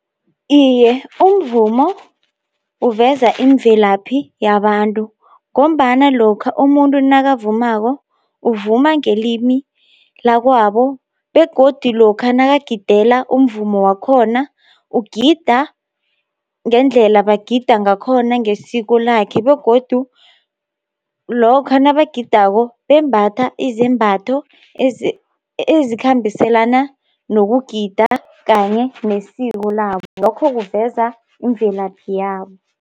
Iye umvumo uveza imvelaphi yabantu, ngombana lokha umuntu nakavumako, uvuma ngelimi lakwabo begodi lokha nakagidela umvumo wakhona, ukugida ngendlela bagida ngakhona ngesiko lakhe begodu lokha nabagidako bembatha izembatho ezikhambiselana nokugida, kanye nesiko labo, lokho kuveza imvelaphi yabo.